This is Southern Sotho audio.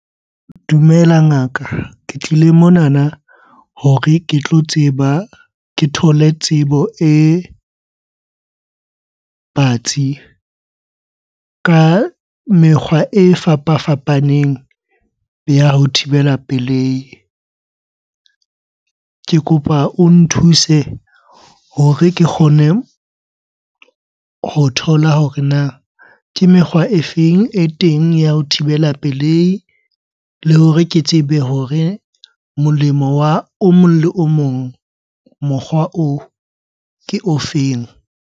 Dumela ngaka. Ke tlile monana hore ke tlo tseba, ke thole tsebo e batsi ka mekgwa e fapafapaneng ya ho thibela pelehi. Ke kopa o nthuse hore ke kgone ho thola hore na ke mekgwa e feng e teng ya ho thibela pelehi? Le hore ke tsebe hore molemo wa o mong le o mong mokgwa oo ke o feng?